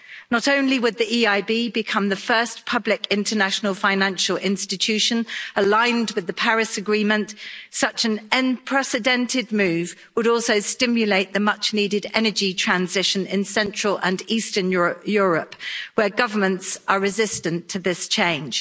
Not only would the EIB become the first public international financial institution aligned with the Paris Agreement, such an unprecedented move would also stimulate the much-needed energy transition in Central and Eastern Europe, where governments are resistant to this change.